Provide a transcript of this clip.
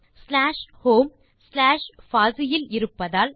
slash home slash பாசி இல் இருப்பதால்